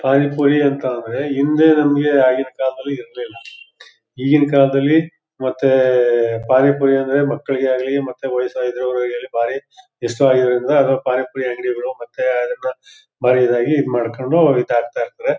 ಪಾನಿ ಪೂರಿ ಅಂತ ಅಂದ್ರೆ ಹಿಂದೆ ನಮಗೆ ಆಗಿನ ಕಾಲದಲ್ಲಿ ಅದ್ ಇರ್ಲಿಲ್ಲ ಈಗಿನ ಕಾಲದಲ್ಲಿ ಮತ್ತೆ ಎ ಎ ಪಾನಿ ಪೂರಿ ಅಂದ್ರೆ ಮಕ್ಕಳಿಗೆ ಆಗ್ಲಿ ಮತ್ತೆ ವಯಸಾಗಿರುವಲಾಗ್ಲಿ ಬಾರಿ ಇಷ್ಟವಾಗಿರುವರಿಂದ ಪಾನಿ ಪೂರಿ ಅಂಗಡಿಗಳು ಮತ್ತೆ ಅದನ್ನ ಮಾಡಿದ್ದಾಗಿ ಇದ್ ಮಾಡ್ಕೊಂಡು ಇದಾಗ್ತಾ ಇರ್ತಾರೆ.